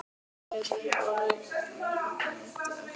Ég leit upp úr reikningsbókinni, yppti öxlum.